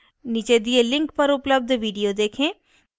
नीचे दिए link पर उपलब्ध video देखें